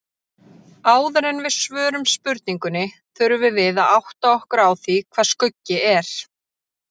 Áður en við svörum spurningunni þurfum við að átta okkur á því hvað skuggi er.